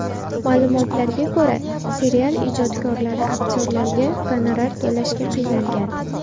Ma’lumotlarga ko‘ra, serial ijodkorlari aktyorlarga gonorar to‘lashga qiynalgan.